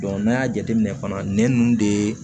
n'an y'a jateminɛ fana nɛn ninnu de